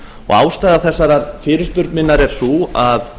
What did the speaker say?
ástæða þessarar fyrirspurnar minnar er sú að